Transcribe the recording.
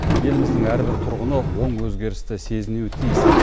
еліміздің әрбір тұрғыны оң өзгерісті сезінуі тиіс